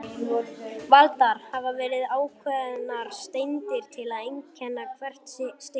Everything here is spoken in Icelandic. Valdar hafa verið ákveðnar steindir til að einkenna hvert stig.